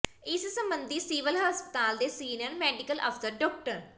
ਇਸ ਸਬੰਧੀ ਸਿਵਲ ਹਸਪਤਾਲ ਦੇ ਸੀਨੀਅਰ ਮੈਡੀਕਲ ਅਫ਼ਸਰ ਡਾ